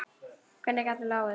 Hvernig hún gat látið.